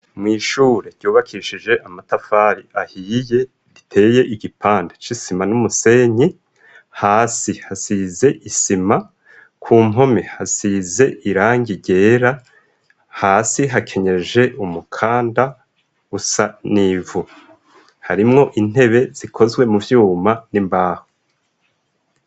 Mw'ishure ryubakishije amatafari ahiye, riteye igipande c'isima n'umusenyi, hasi hasize isima, ku mpome hasize irangi ryera, hasi hakenyeje umukanda usa nivu, harimwo intebe zikozwe mu vyuma n'imbaho.